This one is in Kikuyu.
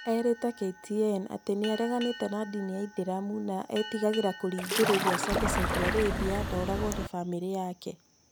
Erĩte KTN atĩ nĩ areganĩte na ndini ya Ithĩramu na nĩ etigagĩra kũringĩrĩrio acoke Saudi Arabia na oragwo nĩ famĩrĩ yake".